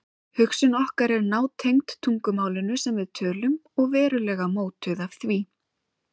Hugsun okkar er nátengd tungumálinu sem við tölum og verulega mótuð af því.